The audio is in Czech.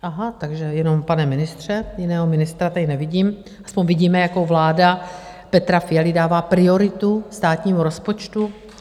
Aha, takže jenom pane ministře , jiného ministra tady nevidím, aspoň vidíme, jakou vláda Petra Fialy dává prioritu státnímu rozpočtu.